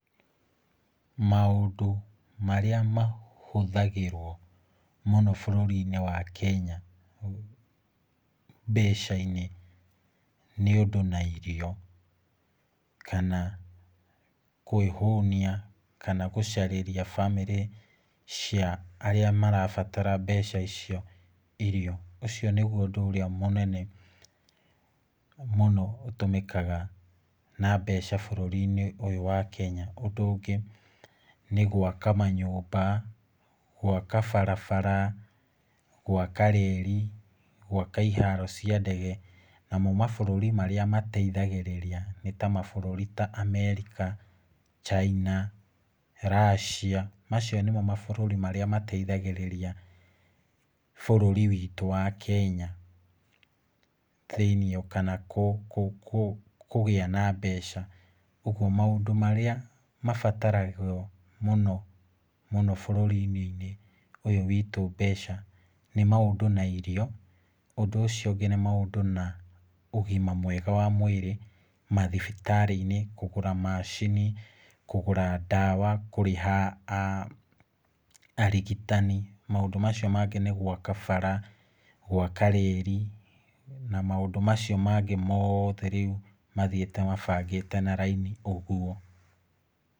Maũndũ marĩa mahũthagĩrwo mũno bũrũri-inĩ wa Kenya mbeca-inĩ nĩ ũndũ na irio, kana kwĩhũnia kana gũcarĩria bamĩrĩ cia arĩa marabatara mbeca icio irio, ũcio nĩguo ũndũ ũrĩa mũnene mũno ũtũmĩkaga na mbeca bũrũri-inĩ ũyũ wa Kenya. Ũndũ ũngĩ, nĩ gwaka manyũmba, gwaka barabara, gwaka reri, gwaka iharo cia ndege, namo mabũrũri marĩa mateithagĩrĩria nĩ ta mabũrũri ta Amerika, China, Russia, macio nĩmo mabũrũri marĩa mateithagĩrĩria bũrũri witũ wa Kenya thĩiniĩ, kana kũgĩa na mbeca, ũguo maũndũ marĩa mabataragwo mũno mũno bũrũri-inĩ ũyũ witũ mbeca nĩ maũndũ na irio, ũndũ ũcio ũngĩ nĩ maũndũ na ũgima mwega wa mwĩrĩ mathibitarĩ-inĩ kũgũra macini, kũgũra ndawa, kũrĩha arigitani, maũndũ macio mangĩ nĩ gwaka bara, gwaka reri, na maũndũ macio mangĩ moothe rĩu mathiĩte mabangĩte na raini ũguo.